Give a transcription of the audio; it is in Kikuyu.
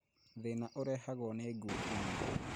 Thĩna ũrehagwo nĩ ngukumio